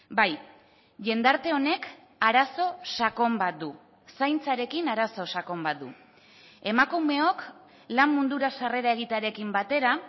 bai jendarte honek arazo sakon bat du zaintzarekin arazo sakon bat du emakumeok lan mundura sarrera egitearekin batera